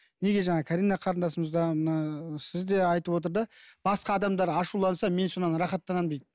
неге жаңа карина қарындасымыз да мына сіз де айтып отыр да басқа адамдар ашуланса мен содан рахаттанамын дейді